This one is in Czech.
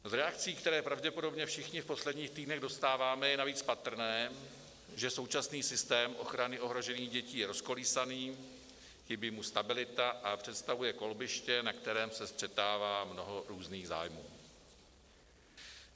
V reakcích, které pravděpodobně všichni v posledních týdnech dostáváme, je navíc patrné, že současný systém ochrany ohrožených dětí je rozkolísaný, chybí mu stabilita a představuje kolbiště, na kterém se střetává mnoho různých zájmů.